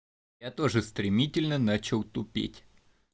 я тоже стремительно начал тупеть